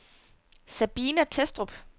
Sabina Thestrup